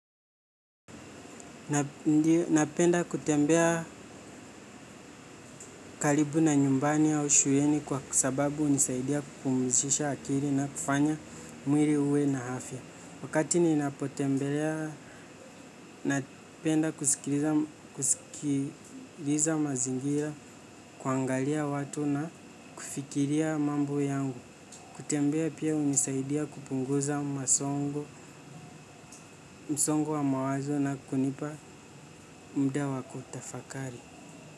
Napenda kutembea kalibu na nyumbani au shuleni kwa sababu unisaidia kupumzisha akiri na kufanya mwiri uwe na afya. Wakati ni napotembelea napenda kusikiliza mazingira, kuangalia watu na kufikiria mambo yangu. Kutembea pia unisaidia kupunguza msongo wa mawazo na kunipa mda wa kutafakari.